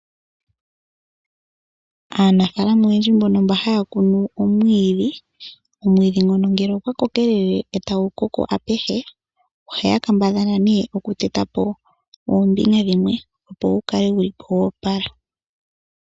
Aanafaalama oyendji mbono haya kunu omwiidhi, omwiidhi ngono ngele ogwa kokelele e tagu koko apuhe ohaya kambadhala nee okuteta po oombinga dhimwe opo gu kale gu li po gwoopala.